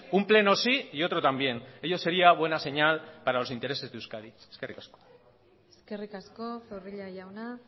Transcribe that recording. un pleno sí y otro también ello sería buena señal para los intereses de euskadi eskerrik asko eskerrik asko zorrilla jauna